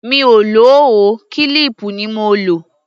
Mi ò lò ó, kílíìpù ni mo lò.